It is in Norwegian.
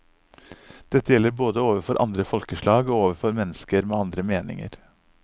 Dette gjelder både overfor andre folkeslag og overfor mennesker med andre meninger.